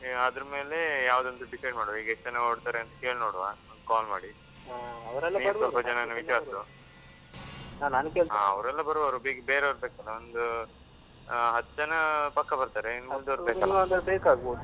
ಅದ್ರಮೇಲೆ ಯಾವುದಂತ decide ಮಾಡುವ. ಈಗ ಎಷ್ಟು ಜನ ಹೊರಾಡ್ತಾರೆ ಅಂತ ಕೇಳಿ ನೋಡುವ ಒಂದು call ಮಾಡಿ, ನೀನ್ ಸ್ವಲ್ಪ ಜನನ ವಿಚಾರಿಸು. ಅವರೆಲ್ಲ ಬರುವರುಈಗ ಬೇರೆವರು ಬೇಕಲ್ಲ ಒಂದು ಅಹ್ ಹತ್ತು ಜನ ಪಕ್ಕ ಬರ್ತಾರೆ ಇನ್ನು ಉಳಿದವರು ಬೇಕಲ್ಲಾ